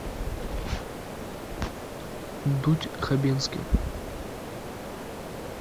дудь хабенский